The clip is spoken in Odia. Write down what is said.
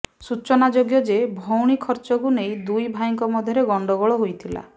ସୂଚନାଯୋଗ୍ୟ ଯେ ଭଉଣୀ ଖର୍ଚ୍ଚକୁ ନେଇ ଦୁଇ ଭାଇଙ୍କ ମଧ୍ୟରେ ଗଣ୍ଡଗୋଳ ହୋଇଥିଲା